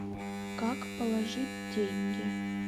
как положить деньги